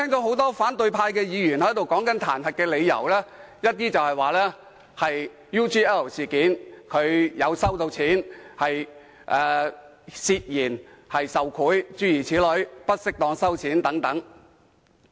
很多反對派議員在闡述彈劾理由時，都提到梁振英在 UGL 事件中收了錢，涉嫌受賄或不適當地收錢，諸如此類。